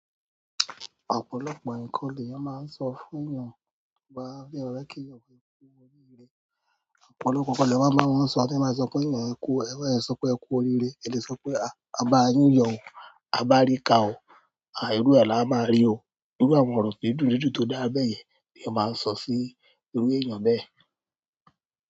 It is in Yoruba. Ọ̀pọ̀lọpọ̀ ǹkan leeyan máa ń sọ fún won. Bí ọba bá fẹ́ rẹ kí ọba kú oríire, ọ̀pọ̀lọpọ̀ nǹkan ni a máa ń sọ, a sì máa sọ pé èèyàn kú, a máa sọ pé ẹ kú oríire, a lè sọ pé a bá yí yọ̀ o, a bá rí ká o, irú ẹ̀ láá máa rí o. Irú àwọn ọ̀rọ̀ dídùn dídùn tó dáa bẹ́yẹn lèèyàn máa ń sọ sí irú èèyàn bẹ́ẹ̀.